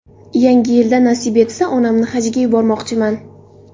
Yangi yilda nasib etsa, onamni hajga yubormoqchiman.